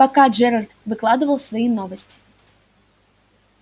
пока джералд выкладывал свои новости